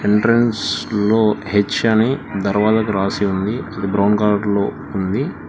Entrance లో H అని ధరవజకు రాసి ఉంది అది బ్రౌన్ కలర్ లో ఉంది.